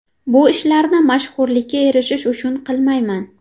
Bu ishlarni mashhurlikka erishish uchun qilmayman.